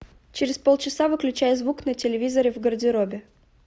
через полчаса выключай звук на телевизоре в гардеробе